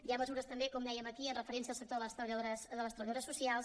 hi ha mesures també com dèiem aquí amb referència al sector de les treballadores socials